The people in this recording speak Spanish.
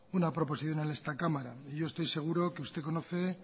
una proposición en esta cámara y yo estoy seguro que usted conoce